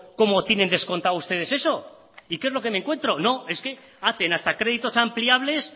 cómo tienen descontado ustedes eso y qué es lo que me encuentro no es que hacen hasta créditos ampliables